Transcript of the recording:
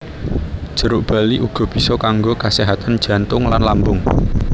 Jeruk bali uga bisa kanggo kaséhatan jantung lan lambung